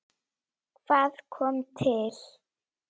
Daginn nú að lengja fer.